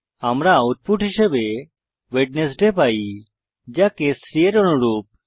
আমরা আউটপুট হিসাবে ওয়েডনেসডে পাই যা কেস 3 এর অনুরূপ